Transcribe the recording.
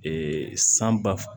san ba